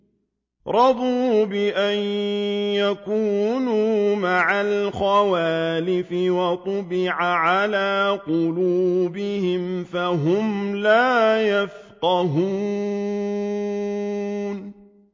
رَضُوا بِأَن يَكُونُوا مَعَ الْخَوَالِفِ وَطُبِعَ عَلَىٰ قُلُوبِهِمْ فَهُمْ لَا يَفْقَهُونَ